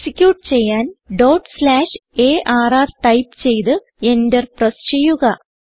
execute ചെയ്യാൻ dot slash R type ചെയ്ത് enter press ചെയ്യുക